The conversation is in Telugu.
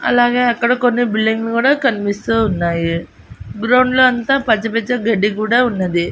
అలాగే అక్కడ కొన్ని బిల్డింగులు కూడా కనిపిస్తూ ఉన్నాయి గ్రౌండ్లో అంతా పచ్చ పచ్చి గడ్డి కూడా ఉన్నది.